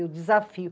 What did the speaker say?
Eu desafio.